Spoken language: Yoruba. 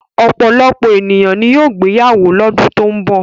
Ọ̀pọ̀lọpọ̀ ènìyàn ni yóò gbéyàwó lọ́dún tó ń bọ̀.